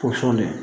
Posɔn de